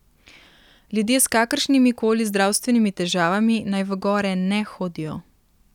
Ljudje s kakršnimi koli zdravstvenimi težavami naj v gore ne hodijo.